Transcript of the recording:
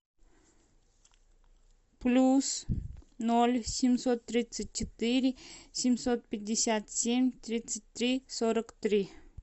плюс ноль семьсот тридцать четыре семьсот пятьдесят семь тридцать три сорок три